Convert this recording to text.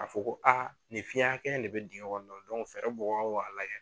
Ka fɔ ko nin fiyɛn hakɛya de bɛ digɛn kɔnɔn fɛɛrɛ mɔgɔw k'a lajɛ